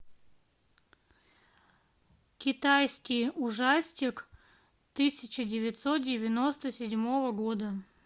китайский ужастик тысяча девятьсот девяносто седьмого года